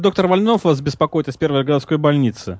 доктор вольнов вас беспокоит из первой городской больницы